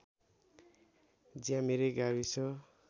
ज्यामिरे गाविस